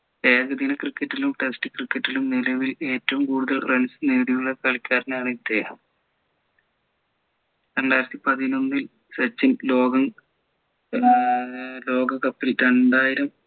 ഏകദിന cricket ലും test cricket ലും നിലവിൽ ഏറ്റവും കൂടുതൽ runs നേടിയുള്ള കളിക്കാരൻ ആണ് ഇദ്ദേഹം രണ്ടായിരത്തി പതിനൊന്നിൽ സച്ചിൻ ലോകം ഏർ ലോക cup ൽ ഏർ രണ്ടായിരം